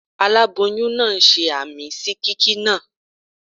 Aláboyún náà ṣe àmín sí kíkí náà.